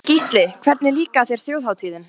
Gísli: Hvernig líkaði þér Þjóðhátíðin?